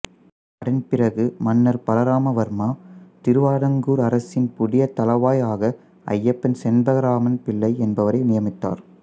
அதன் பிறகு மன்னர் பலராம வர்மா திருவிதாங்கூர் அரசின் புதிய தளவாய் ஆக ஐயப்பன் செண்பகராமன் பிள்ளை என்பவரை நியமித்தார்